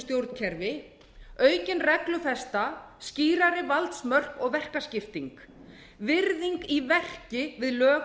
stjórnkerfi aukin reglufesta skýrari valdmörk og verkaskipting virðing í verki við lög